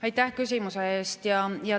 Aitäh küsimuse eest!